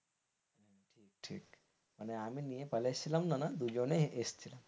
মানে আমি নিয়ে পালিয়ে এসেছিলাম না দুজনেই এসছিলাম।